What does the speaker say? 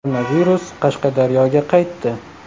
Koronavirus Qashqadaryoga qaytdi.